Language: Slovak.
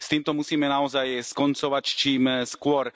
S týmto musíme naozaj skoncovať čím skôr.